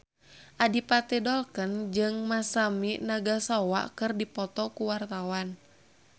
Adipati Dolken jeung Masami Nagasawa keur dipoto ku wartawan